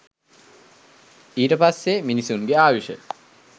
ඊට පස්සේ මිනිසුන්ගේ ආයුෂ